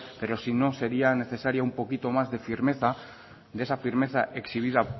pero si no sería necesario un poquito más de firmeza de esa firmeza exhibida